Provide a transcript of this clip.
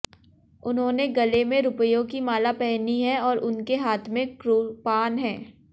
उन्होंने गले में रुपयों की माला पहनी है और उनके हाथ में कृपाण है